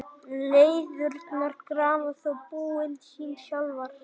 Læðurnar grafa þó búin sín sjálfar.